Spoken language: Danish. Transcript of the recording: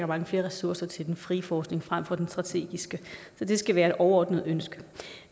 mange flere ressourcer til den frie forskning frem for den strategiske så det skal være et overordnet ønske